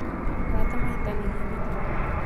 Arata mahĩtanagia nĩkĩ?